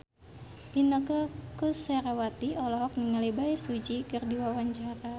Inneke Koesherawati olohok ningali Bae Su Ji keur diwawancara